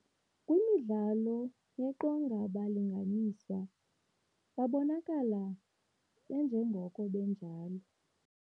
Kwimidlalo yeqongaabalinganiswa babonakala benjengoko benjalo.